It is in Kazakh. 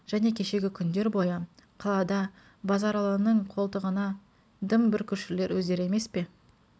және кешегі күндер бойы қалада базаралының қолтығына дым бүркушілер өздері емес пе